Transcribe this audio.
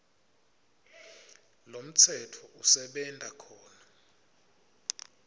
lomtsetfo usebenta khona